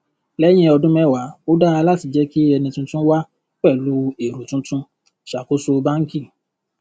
lẹyìn ọdún mẹwàá ó dára láti jẹ kí ẹni tuntun wá pẹlú èrò tuntun ṣàkóso bánkì